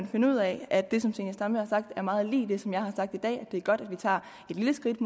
finde ud af at det som fru zenia stampe har sagt er meget lig det som jeg har sagt i dag nemlig at det er godt at vi tager et lille skridt